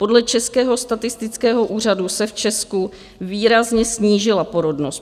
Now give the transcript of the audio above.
Podle Českého statistického úřadu se v Česku výrazně snížila porodnost.